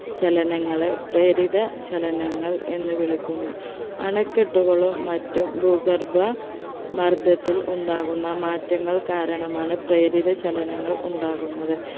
ചലനങ്ങളെ പ്രേരിത ചലനങ്ങൾ എന്ന് വിളിക്കുന്നു അണക്കെട്ടുകളും മറ്റും ഭൂഗർഭ മർദ്ദത്തിൽ ഉണ്ടാകുന്ന മാറ്റങ്ങൾ കാരണമാണ് പ്രേരിതചലനങ്ങൾ ഉണ്ടാകുന്നത്